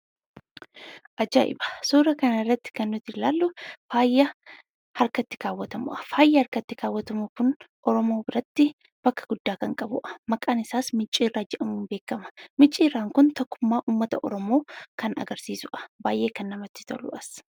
Ajaa'iba! Suura kana irratti kan nuti ilaallu faayaa harkatti kaawwatamuudha. Faayi harkatti kaawwatamu kun Oromoo biratti bakka guddaa kan qabuudha. Maqaan isaas micciirraa jedhamuun beekama. Micciirraan kun tokkummaa uummata Oromoo kan agarsiisuudha. Baay'ee kan namatti toluudhas.